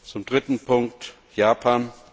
Zum dritten Punkt Japan.